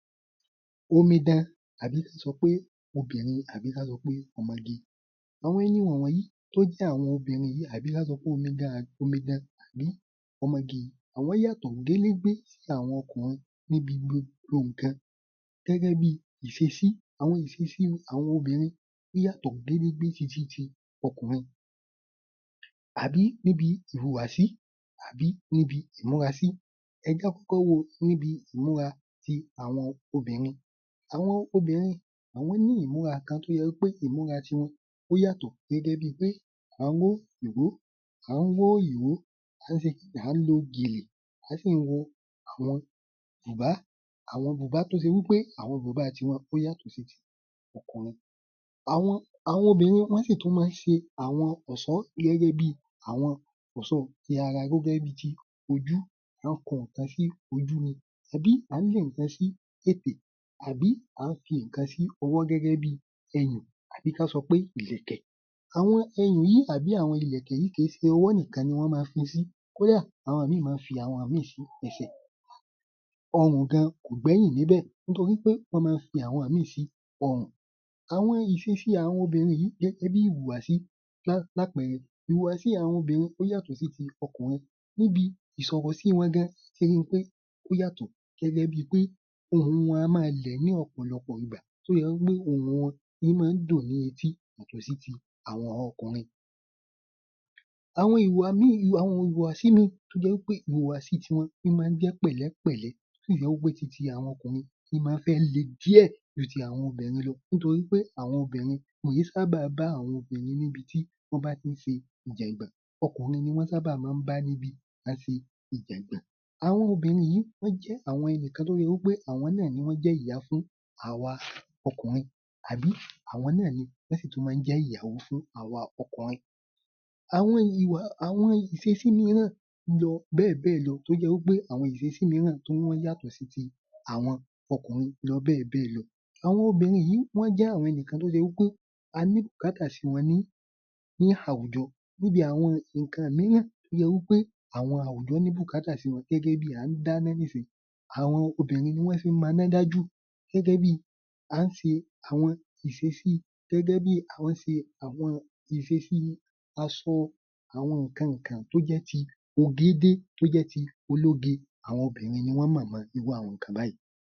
Omidan àbí kí n sọ pé obìnrin àbí ká sọ pé ọmọge, àwọn ẹni wọ̀n wọ̀nyí tó jẹ àwọn obìnrin yìí àbí kí a sọ pé omidan, omidan tàbí ọmọge àwọn yàtọ̀ gélé gbé sí àwọn ọkùnrin níbi gbogbo nǹkan, gẹ́gẹ́ bí iṣesí, àwọn iṣesí àwọn obìnrin ó yàtọ̀ gédégbé sí ti tí ọkùnrin àbí níbi ìhùwàsí àbí níbi ìmúrasí, ẹ jẹ á kọ́kọ́ wo níbi imúra tí àwọn obìnrin, àwọn obìnrin àwọn ni imúra kan tí ó jẹ́ wí pé imúra tí wọn ó yàtọ̀ gẹ́gẹ́ bí pé, à ń ró ìró, à ń ró ìró, à ń á ń lo gèlè, à á si wo àwọn bùbá, àwọn bùbá tí ó ṣe wí pé, àwọn bùbá tí wọn ó yàtọ̀ sí tí ọkùnrin, àwọn àwọn obìnrin wọ́n sì tún máa ń ṣe àwọn ọ̀ṣọ́ gẹ́gẹ́ bí àwọn ọ̀ṣọ́ ti ara gẹ́gẹ́ bí ti ojú, wọ́n á kun nǹkan sí ojú ni àbí a ń le nǹkan sí ètè àbí á ń fi nǹkan sí ọwọ́ gẹ́gẹ́ bí ẹ̀yìn tàbí kọ́n sọ pé ìlẹ̀kẹ̀. Àwọn ẹ̀yìn yìí tàbí àwọn ìlẹ̀kẹ̀ yìí kì í ṣe ọwọ́ nìkan ni wọn máa ń fi sí, kódà àwọn míì máa ń fi àwọn míì sí ẹ̀sẹ̀, ọrùn gan-an kò gbẹ́yìn níbẹ̀, nitori pé wọ́n máa ń fi àwọn míì sí ọrùn. Àwọn iṣesí àwọn obìnrin yìí gẹ́gẹ́ bí ìhùwàsí, lá lápẹẹrẹ ìhùwàsí àwọn obìnrin ó yàtọ̀ sí tí ọkùnrin níbi ìsọ̀rọ̀sí wọn gan-an, ẹ ó rí i pé ó yàtọ̀ gẹ́gẹ́ bí pé, ohùn a máa lẹ̀ ní ọ̀pọ̀lọpọ̀ ìgbà tí ó sì jẹ wí pé ohùn wọn máa ń dùn ní etí yàtọ̀ sí tí àwọn ọkùnrin. Àwọn ìwà míì, àwọn ìhùwàsí míì tó jẹ wí pé ìhùwàsí tí wọn ń máa ń jẹ́ pẹ̀lẹ́pẹ̀lẹ́ wé ti ti àwọn ọkùnrin tí ń máa fẹ́ le díẹ̀ ju tí àwọn obìnrin lọ nítorí pé àwọn obìnrin wọn í sábà bá àwọn obìnrin níbi tí wọn bá a tí í ṣe ìjọ̀gbọ́n, ọkùnrin ní wọn sábà máa ń bá níbi ìjọ̀gbọ́n, àwọn obìnrin yìí wọ́n jẹ́ àwọn ẹnìkan tó jẹ́ wí pé àwọn náà ni wọ́n jẹ́ ìyá fún àwa ọkùnrin àbí àwọn náà ni wọn sì tún máa ń jẹ ìyàwó fún àwa ọkùnrin. Àwọn ìwà, àwọn iṣesí mìíràn lọ bẹ́ẹ̀ bẹ́ẹ̀ lọ tó jẹ wí pé, àwọn iṣesí mìíràn tí wọn yàtọ̀ sí tí àwọn ọkùnrin lọ bẹ́ẹ̀ bẹ́ẹ̀ lọ, àwọn obìnrin yìí, wọn jẹ́ àwọn ẹnikan tí ó ṣe wí pé a ní bùkátà sì wọn ní àwùjọ níbi àwọn nǹkan mìíràn tó ṣe wí pé àwọn àwùjọ ní bùkátà sí wọn gẹ́gẹ́ bí a ń dáná nísinyí, àwọn obìnrin ni wọ́n fi ń mọná dá jù gẹ́gẹ́ bí à ń ṣe àwọn iṣesí gẹ́gẹ́ bí à ń ṣe àwọn ìṣesí aṣọ àwọn nǹkan ǹǹkan tó jẹ́ ti ogé dé tó jẹ ti ológe àwọn obìnrin ni wọ́n mọ̀ mọ irú àwọn nǹkan báìí.